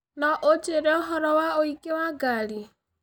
No ũnjĩĩre ũhoro wa ũingĩ wa ngari